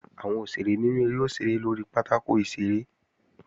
Àwọn òṣèré nínú eré ó ṣeré lórí pátákò ìṣeré